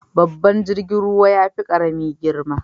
Babban jirgin ruwa yafi karami girma.